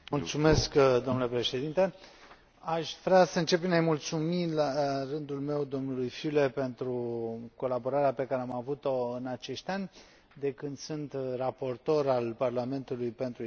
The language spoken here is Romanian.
Domnule președinte, aș vrea să încep prin a i mulțumi, la rândul meu, domnului Füle pentru colaborarea pe care am avut o în acești ani, de când sunt raportor al Parlamentului pentru Islanda.